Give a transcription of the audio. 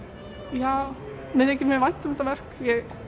já mér þykir mjög vænt um þetta verk